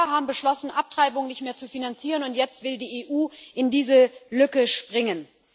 Die USA haben beschlossen, Abtreibung nicht mehr zu finanzieren, und jetzt will die EU in diese Lücke springen.